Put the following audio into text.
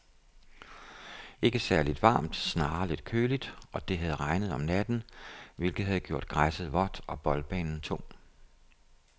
Ikke særligt varmt, snarere lidt køligt, og det havde regnet om natten, hvilket havde gjort græsset vådt og boldbanen tung.